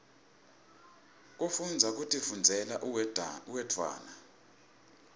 kufundza kutifundzela uwedwana